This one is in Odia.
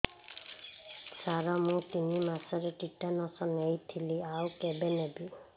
ସାର ମୁ ତିନି ମାସରେ ଟିଟାନସ ନେଇଥିଲି ଆଉ କେବେ ନେବି